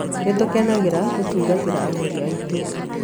Nĩ tũkenagĩra gũtungatĩra agũri aitũ.